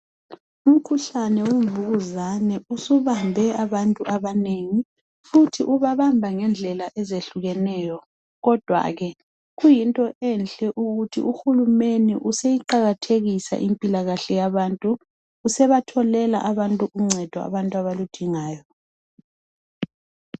Umkhuhlane wevukuzane usubambe abantu abanengi futhi ubabamba ngendlela ezehlukeneyo kodwa ke kuyinto enhle ukuthi uhulumeni useyiqakathekisa impilakahle yabantu usebatholela uncedo abantu abaludingayo.